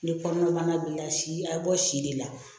Ni kɔnɔna bana b'i la si a bɛ bɔ si de la